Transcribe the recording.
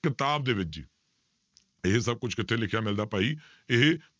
ਕਿਤਾਬ ਦੇ ਵਿੱਚ ਜੀ, ਇਹ ਸਭ ਕੁਛ ਕਿੱਥੇ ਲਿਖਿਆ ਮਿਲਦਾ ਭਾਈ ਇਹ